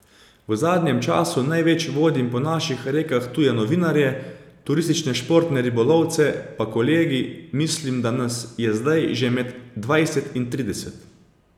V zadnjem času največ vodim po naših rekah tuje novinarje, turistične športne ribolovce pa kolegi, mislim, da nas je zdaj že med dvajset in trideset.